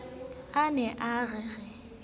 a ne a re re